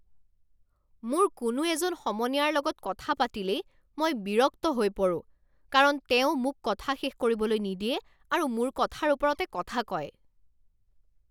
মোৰ কোনো এজন সমনীয়াৰ লগত কথা পাতিলেই মই বিৰক্ত হৈ পৰোঁ কাৰণ তেওঁ মোক কথা শেষ কৰিবলৈ নিদিয়ে আৰু মোৰ কথাৰ ওপৰতে কথা কয়।